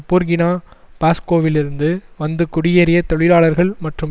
Burkina பாஸ்கோவிலிருந்து வந்து குடியேறிய தொழிலாளர்கள் மற்றும்